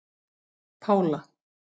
Pála